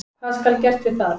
Hvað skal gert við það?